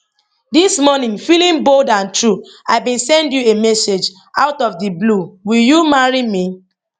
dis morning feeling bold and true i bin send you a message out of di blue will you marry me